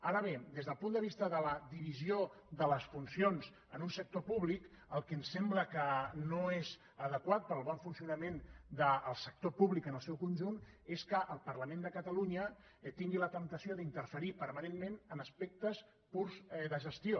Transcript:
ara bé des del punt de vista de la divisió de les funcions en un sector públic el que ens sembla que no és adequat per al bon funcionament del sector públic en el seu conjunt és que el parlament de catalunya tingui la temptació d’interferir permanentment en aspectes purs de gestió